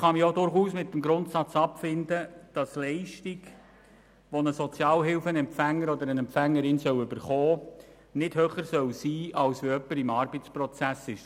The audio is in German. Ich kann mich durchaus mit dem Grundsatz abfinden, dass Leistungen, die ein Sozialhilfeempfänger oder eine Sozialhilfeempfängerin erhält, nicht höher sein sollen als der Lohn, wenn jemand im Arbeitsprozess ist.